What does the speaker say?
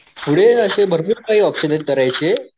पुढे अशे भरपूर काही ऑपशन आहे करायचे